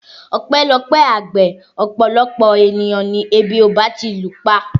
Ọpẹ́lọpẹ́ àgbẹ̀ ọ̀pọ̀lọpọ̀ ènìyàn ni ebi ò bá ti lùpa